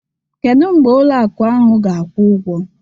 Kedu mgbe ụlọ akụ ahụ ga-akwụ ụgwọ?